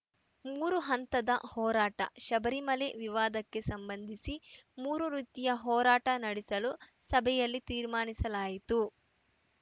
ಮೂರು ಹಂತದ ಹೋರಾಟ ಶಬರಿಮಲೆ ವಿವಾದಕ್ಕೆ ಸಂಬಂಧಿಸಿ ಮೂರು ರೀತಿಯ ಹೋರಾಟ ನಡೆಸಲು ಸಭೆಯಲ್ಲಿ ತೀರ್ಮಾನಿಸಲಾಯಿತು